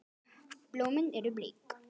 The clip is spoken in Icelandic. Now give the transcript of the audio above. Blómin eru bleik.